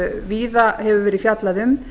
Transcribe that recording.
víða hefur verið fjallað um